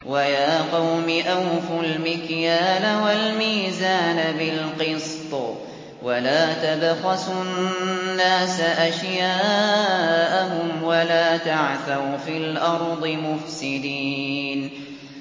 وَيَا قَوْمِ أَوْفُوا الْمِكْيَالَ وَالْمِيزَانَ بِالْقِسْطِ ۖ وَلَا تَبْخَسُوا النَّاسَ أَشْيَاءَهُمْ وَلَا تَعْثَوْا فِي الْأَرْضِ مُفْسِدِينَ